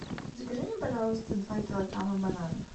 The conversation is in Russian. закажи мне пожалуйста два килограмма бананов